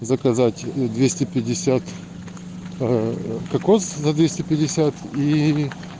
заказать